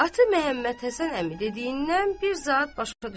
Atı Məhəmmədhəsən əmi dediyindən bir zad başa düşmədi.